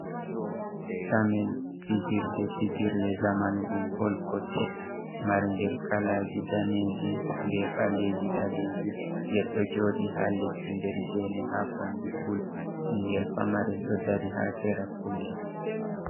Tamel fijirde fijirle zamanu, ɗum bol kosɗe marngel kalaaji daneeji, be ɓaleeji- ɓaleeji. Ngel ɗo jooɗi haa leddi nder geene haa kombi pul. Ɓingel pamarel ɗo dari haa sera pul mai.